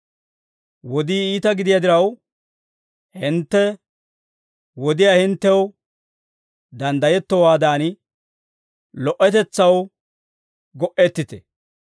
Wodii iita gidiyaa diraw, hintte wodiyaa hinttew danddayettowaadan lo"otetsaw go"ettite.